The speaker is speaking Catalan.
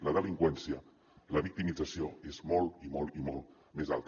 la delinqüència la victimització és molt i molt i molt més alta